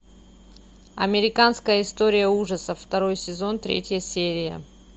американская история ужасов второй сезон третья серия